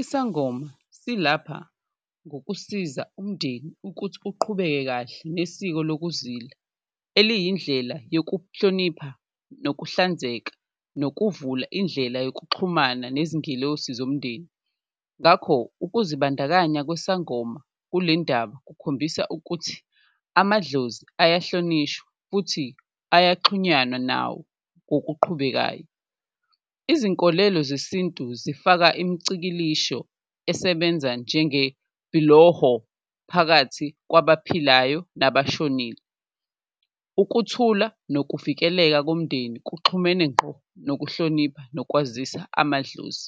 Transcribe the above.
Isangoma silapha ngokusiza umndeni ukuthi uqhubeke kahle nesiko lokuzila eliyindlela yokuhlonipha, nokuhlanzeka nokuvula indlela yokuxhumana nezingilosi zomndeni. Ngakho ukuzibandakanya kwesangoma kule ndaba kukhombisa ukuthi amadlozi ayahlonishwa futhi ayaxhunyanwa nawo ngokuqhubekayo, izinkolelo zesintu zifaka imicikilisho esebenza njengebhiloho phakathi kwabaphilayo nabashonile. Ukuthula nokuvikeleka komndeni kuxhumene ngqo nokuhlonipha nokwazisa amadlozi